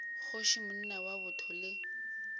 kgoši monna wa botho le